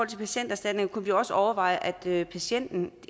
til patienterstatning kunne vi jo også overveje at patienten